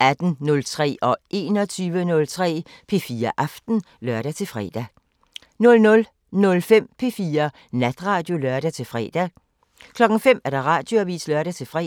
18:03: P4 Aften (lør-søn) 21:03: P4 Aften (lør-fre) 00:05: P4 Natradio (lør-fre) 05:00: Radioavisen (lør-fre)